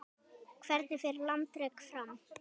Hvernig fer landrek fram?